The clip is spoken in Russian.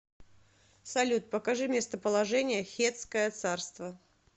салют покажи местоположение хеттское царство